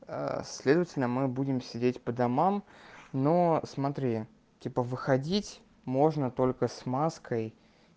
следовательно мы будем сидеть по домам но смотри типа выходить можно только с маской